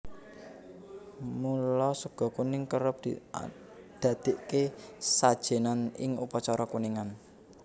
Mula sega kuning kerep didadékake sajènan in upacara kuningan